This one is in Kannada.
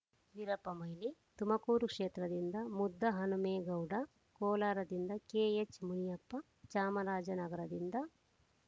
ವೀರಪ್ಪ ಮೊಯ್ಲಿ ತುಮಕೂರು ಕ್ಷೇತ್ರದಿಂದ ಮುದ್ದಹನುಮೇಗೌಡ ಕೋಲಾರದಿಂದ ಕೆಎಚ್‌ ಮುನಿಯಪ್ಪ ಚಾಮರಾಜನಗರದಿಂದ